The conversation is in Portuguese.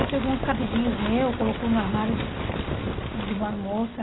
Aí pegou uns cabidinhos meus, colocou no armário de de uma moça.